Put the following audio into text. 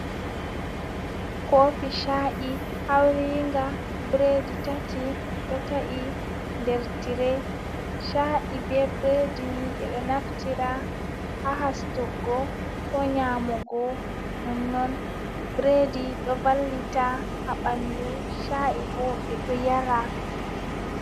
Kofi shaa’i hauringa biredi tati do ta’i nder tire shaa’i be biredi ni ɓeɗo naftira ha hastuggo ko nyamugo nonnon biredi do vallita ha ɓandu sha’i ɓo ɓeɗo yara.